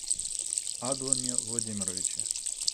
адлане владимировиче